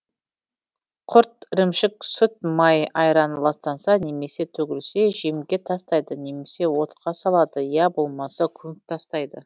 құрт ірімшік сүт май айран ластанса немесе төгілсе жемге тастайды немесе отқа салады я болмаса көміп тастайды